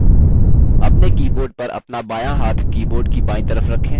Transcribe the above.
अपने keyboard पर अपना बायाँ हाथ keyboard की बायीं तरफ रखें